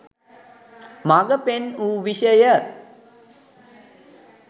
මග පෙන් වූ විෂය